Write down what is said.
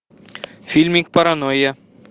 фильмик паранойя